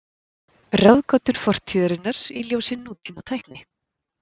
Ráðgátur fortíðarinnar í ljósi nútímatækni.